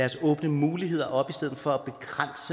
og åbne muligheder op i stedet for